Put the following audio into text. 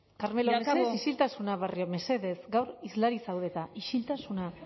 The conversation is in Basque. carmelo mesedez isiltasuna barrio mesedez gaur hizlari zaude eta isiltasuna